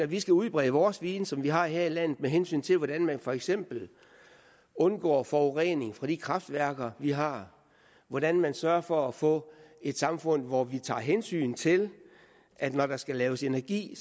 vi skal udbrede vores viden som vi har her i landet med hensyn til hvordan man for eksempel undgår forurening fra de kraftværker vi har hvordan man sørger for at få et samfund hvor vi tager hensyn til at det når der skal laves energi